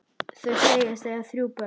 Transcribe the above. Þau segjast eiga þrjú börn.